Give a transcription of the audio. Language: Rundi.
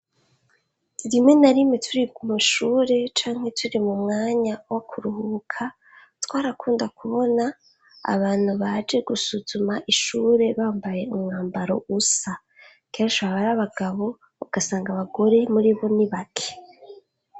Rimwe na rimwe turi ku mashuri canke turi kuruhuka, canke turi m'umwanya wo kuruhuka, twarakunda kubona abantu baje gusuzuma ishure bambaye umwambaro usa. Kenshi baba ari abagabo ugasanga abagore muri bo ni bake.